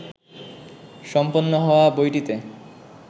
সম্পন্ন হওয়া বইটিতে